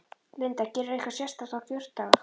Linda: Gerirðu eitthvað sérstakt á kjördag?